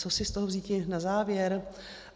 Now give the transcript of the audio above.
Co si z toho vzíti na závěr?